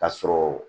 Ka sɔrɔ